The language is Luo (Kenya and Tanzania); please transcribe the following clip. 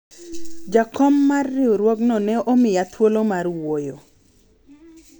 jakom mar riwruogno ne omiya thuolo mar wuoyo